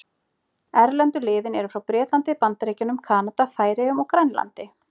Erlendu liðin eru frá Bretlandi, Bandaríkjunum, Kanada, Færeyjum og Grænlandi.